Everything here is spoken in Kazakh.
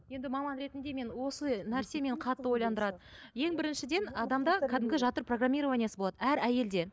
енді маман ретінде мен осы нәрсе мені қатты ойландырады ең біріншіден адамда кәдімгі жатыр программированиесі болады әр әйелде